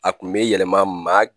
A kun bɛ yɛlɛma maa